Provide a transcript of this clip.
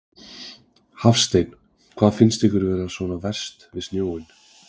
Hafsteinn: Hvað finnst ykkur vera svona verst við snjóinn?